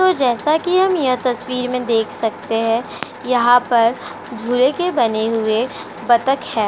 जैसा कि हम इस तस्वीर में देख सकते हैं यहाँ पर झूले के बने हुए बतक हैं।